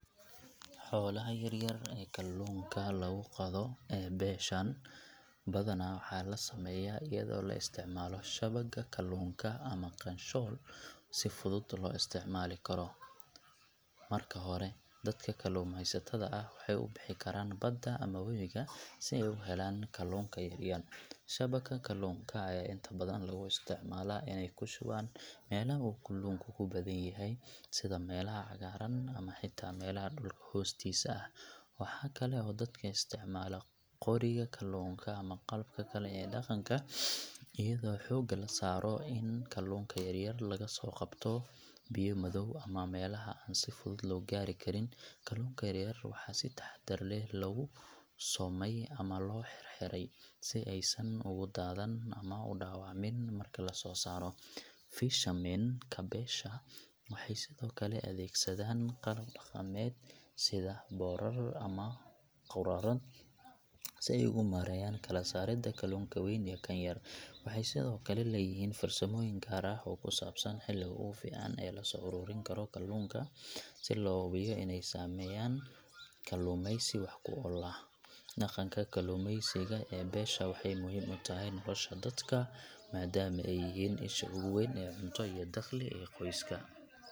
Xoolaha yar-yar ee kalluunka lagu qodo ee beeshaan, badanaa waxaa la sameeyaa iyadoo la isticmaalo shabagga kalluunka ama qaanshool si fudud loo isticmaali karo. Marka hore, dadka kalluumeysatada ah waxay u bixi karaan badda ama wabiga, si ay u helaan kalluunka yar-yar. Shabagga kalluunka ayaa inta badan lagu isticmaalaa inay ku shubaan meelaha uu kalluunka ku badan yahay, sida meelaha cagaaran ama xitaa meelaha dhulka hoostiisa ah. Waxaa kale oo dadka isticmaala qoriga kalluunka ama qalabka kale ee dhaqanka, iyadoo xoogga la saaro in kalluunka yar-yar laga soo qabto biyo madow ama meelaha aan si fudud loo gaari karin. Kalluunka yaryar waxaa si taxadar leh loogu soomay ama loo xidhxidhay, si aysan ugu daadan ama u dhaawacmin marka la soo saaro. Fishermen ka beesha waxay sidoo kale adeegsadaan qalab dhaqameed, sida boodhadh ama quraarad si ay ugu maareeyaan kala-saaridda kalluunka weyn iyo kan yar. Waxay sidoo kale leeyihiin farsamooyin gaar ah oo ku saabsan xilliga ugu fiican ee la soo ururin karo kalluunka si loo hubiyo inay sameeyaan kaluumaysi wax ku ool ah. Dhaqanka kalluumaysiga ee beesha waxay muhiim u tahay nolosha dadka, maadaama ay yihiin isha ugu weyn ee cunto iyo dakhli ee qoysaska.